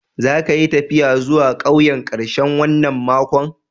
Za ka yi taffiya zuwa ƙauyen karshen wanan makon?